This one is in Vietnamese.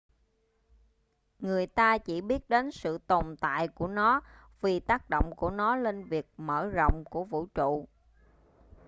người ta chỉ biết đến sự tồn tại của nó vì tác động của nó lên việc mở rộng của vũ trụ